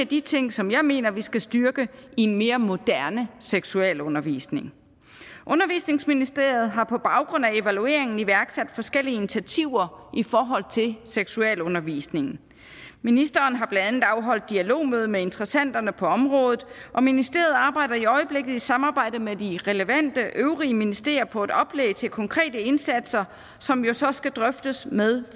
de ting som jeg mener vi skal styrke i en mere moderne seksualundervisning undervisningsministeriet har på baggrund af evalueringen iværksat forskellige initiativer i forhold til seksualundervisningen ministeren har blandt andet afholdt dialogmøde med interessenterne på området og ministeriet arbejder i øjeblikket i samarbejde med de relevante øvrige ministerier på et oplæg til konkrete indsatser som jo så skal drøftes med